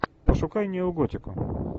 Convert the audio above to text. пошукай нео готику